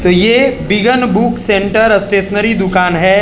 ये बिगन book centre stationery दुकान है।